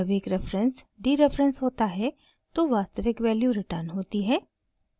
जब एक reference dereference होता है तो वास्तविक वैल्यू रिटर्न होती है